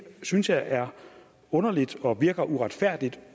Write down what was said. synes jeg er underligt og virker uretfærdigt